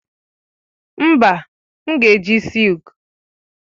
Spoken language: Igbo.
Mba, m ga-eji silk.